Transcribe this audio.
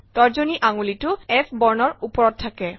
তৰ্জনী আঙুলিটো F বৰ্ণৰ ওপৰত থাকে